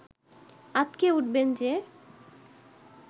আঁতকে উঠবেন যে